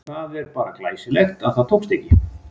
Það er bara glæsilegt að það tókst ekki!